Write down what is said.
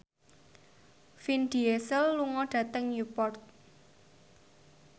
Vin Diesel lunga dhateng Newport